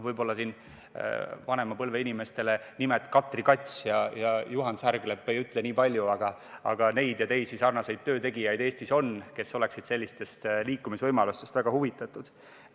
Võib-olla vanema põlve inimestele ei ütle sellised nimed nagu Katri Kats ja Juhani Särglep kuigi palju, aga neid ja teisi sarnaseid töötegijaid Eestis on, kes oleksid sellistest liikumisvõimalustest väga huvitatud.